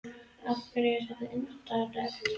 Af hverju er þetta undarlegt?